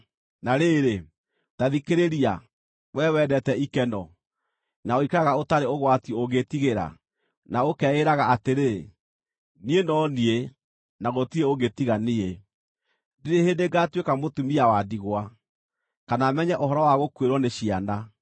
“Na rĩrĩ, ta thikĩrĩria, wee wendete ikeno, na ũikaraga ũtarĩ ũgwati ũngĩĩtigĩra, na ũkeĩraga atĩrĩ, ‘Niĩ no niĩ, na gũtirĩ ũngĩ tiga niĩ. Ndirĩ hĩndĩ ngaatuĩka mũtumia wa ndigwa, kana menye ũhoro wa gũkuĩrwo nĩ ciana.’